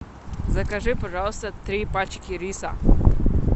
закажи пожалуйста три пачки риса